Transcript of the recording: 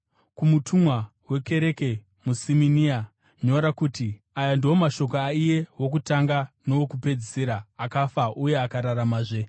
“Kumutumwa wekereke iri muSimina nyora kuti: Aya ndiwo mashoko aiye Wokutanga neWokupedzisira, akafa uye akararamazve.